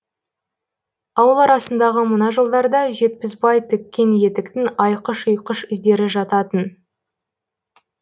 ауыл арасындағы мына жолдарда жетпісбай тіккен етіктің айқыш ұйқыш іздері жататын